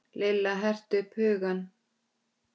Lilla herti upp hugann.